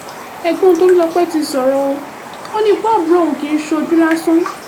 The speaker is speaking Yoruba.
ẹ̀gbọ́n tolulọpẹ́ ti sọ̀rọ̀ o ò ní ikú àbúrò òun kì í ṣojú lásán